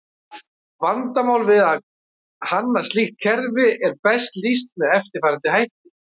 Vandamál við að hanna slíkt kerfi er best lýst með eftirfarandi hætti.